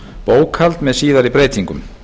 bókhald með síðari breytingum